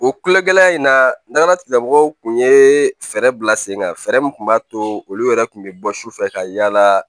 O kulegɛlɛya in nakana tigilamɔgɔw kun ye fɛɛrɛ bila sen kan fɛɛrɛ min tun b'a to olu yɛrɛ kun bɛ bɔ su fɛ ka yaala